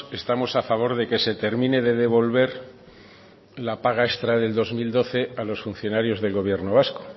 estamos a favor de que se termine de devolver la paga extra del dos mil doce a los funcionarios del gobierno vasco